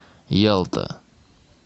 ялта